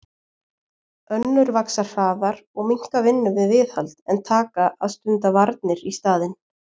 Önnur vaxa hraðar og minnka vinnu við viðhald en taka að stunda varnir í staðinn.